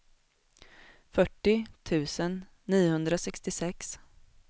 fyrtio tusen niohundrasextiosex